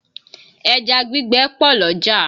Ẹja gbígbẹ pọ̀ l'ọ́jà